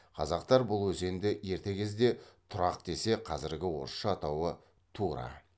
қазақтар бұл өзенді ерте кезде тұрғақ десе қазіргі орысша атауы тура